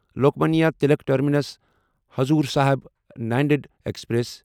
Lokmanya Tilak terminus Hazur Sahib Nanded express